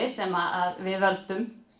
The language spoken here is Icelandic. sem við völdum